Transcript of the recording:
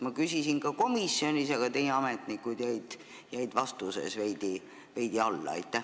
Ma küsisin seda ka komisjonis, aga teie ametnikud jäid vastamisel veidi alla.